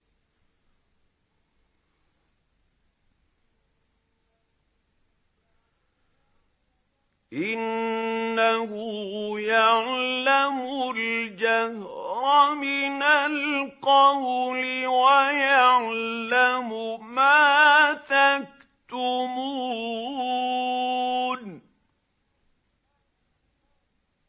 إِنَّهُ يَعْلَمُ الْجَهْرَ مِنَ الْقَوْلِ وَيَعْلَمُ مَا تَكْتُمُونَ